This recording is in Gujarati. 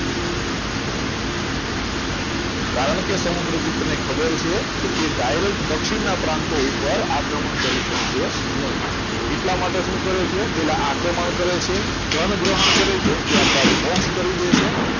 કારણકે સમુદ્રગુપ્ત ને ખબર છે કે તે direct દક્ષિણના પ્રાંતો ઉપર આક્રમણ કરી શકે નહીં એટલા માટે શું કરે છે આ પહેલા આક્રમણ કરે છે ધન ગ્રહણ કરે છે ત્યારબાદ મોક્ષ કરી દેશે